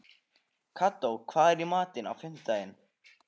Kató, hvað er í matinn á fimmtudaginn?